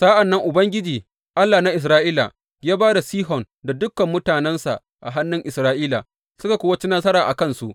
Sa’an nan Ubangiji, Allah na Isra’ila, ya ba da Sihon da dukan mutanensa a hannun Isra’ila, suka kuwa ci nasara a kansu.